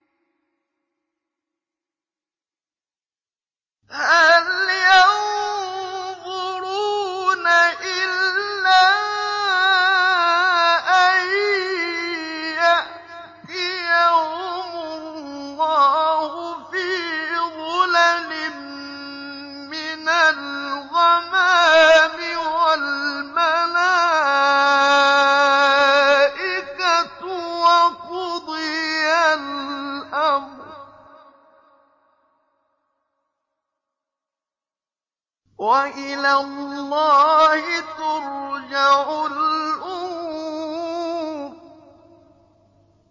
هَلْ يَنظُرُونَ إِلَّا أَن يَأْتِيَهُمُ اللَّهُ فِي ظُلَلٍ مِّنَ الْغَمَامِ وَالْمَلَائِكَةُ وَقُضِيَ الْأَمْرُ ۚ وَإِلَى اللَّهِ تُرْجَعُ الْأُمُورُ